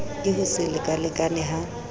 ke ho se lekalekane ha